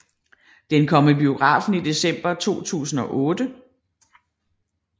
Den kom i biografen i december 2008